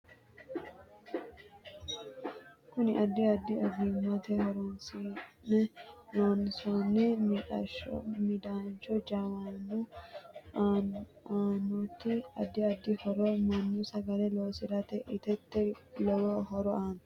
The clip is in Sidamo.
Kuni addi addi ogimate horoonisine loonsooni mixxasho ,midaancho jawanu aanoti addi addi horo mannu sagale loosire itatte lowo horo aano